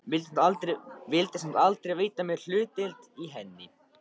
Vildi samt aldrei veita mér hlutdeild í henni.